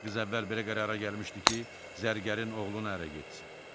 Qız əvvəl belə qərara gəlmişdi ki, zərgərin oğluna ərə getsin.